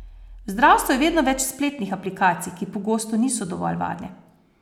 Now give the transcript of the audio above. V zdravstvu je vedno več spletnih aplikacij, ki pogosto niso dovolj varne.